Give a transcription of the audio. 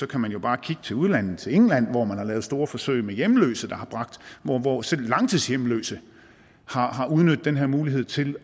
kan man jo bare kigge til udlandet til england hvor man har lavet store forsøg med hjemløse hvor selv langtidshjemløse har udnyttet den her mulighed til